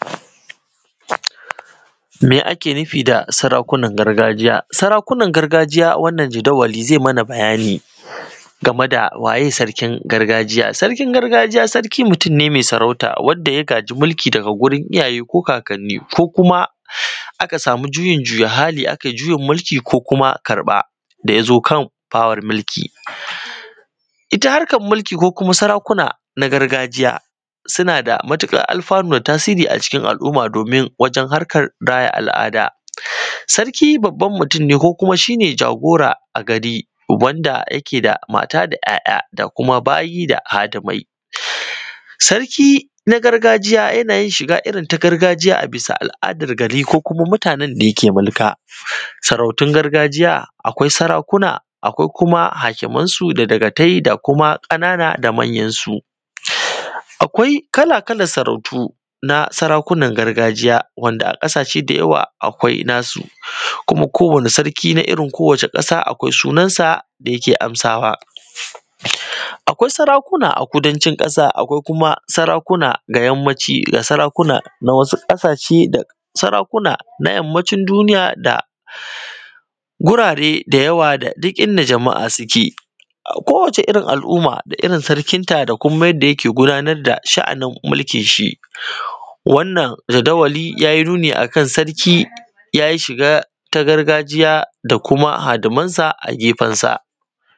Me ake nufi da sarakunan gargajiya sarakunan gargajiya wannan jadawali zai mana bayani game da waye sarkin gargajiya sarkin gargajiya sarki mutum ne mai sarauta wanda ya gaji mulki daga gurin iyaye ko kakanni ko kuma aka samu juyin juya hali aka yi juyin mulki ko kuma karɓa ɗa ya zo kan power mulki ita harkar mulki ko kuma sarakuna na gargajiya suna da matuƙar alfanu da tasiri a cikin al’umma domin wajen harkar raya al’ada, sarki babban mutum ne ko kuma shi ne jagora a gari wanda yake da mata da ‘ya’ya da kuma bayi da hadimai sarki na gargajiya yana yin shiga irin ta gargajiya a bisa al’adar gari ko kuma mutanen ne da yake mulka sarautun gargajiya akwai sarakuna akwai kuma hakimansu da dakatai da kuma ƙanana da manya su akwai kala-kalan sarautu na sarakunan gargajiya wanda a ƙasashe da yawa akwai na su kuma kowanni sarki na irin ko wacce ƙasa akwai sunan sa da yake amsawa akwai sarakuna a kudancin ƙasa akwai kuma sarakuna ga yammaci da sarakuna na wasu ƙasashe sarakuna na yammacin duniya da gurare da yawa da du kind jama’a suke a kowacce irin al’umma da irin sarkin ta da kuma irin yanda yake gudanar da sha’anin mulkin shi wannan jadawali ya yi nuni akan sarki ya yi shiga ta gargajiya da kuma hadimansa a gefen sa